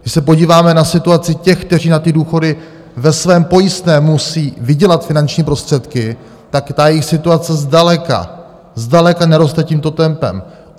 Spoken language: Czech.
Když se podíváme na situaci těch, kteří na ty důchody ve svém pojistném musí vydělat finanční prostředky, tak ta jejich situace zdaleka, zdaleka neroste tímto tempem.